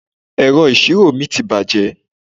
Ẹ̀rọ ìṣirò mi ti bàjẹ́.